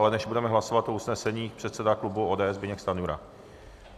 Ale než budeme hlasovat o usnesení, předseda klubu ODS Zbyněk Stanjura.